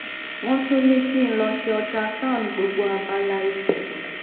wọn tún ní kí n lọ ṣe ultrasound gbogbo abala ikùn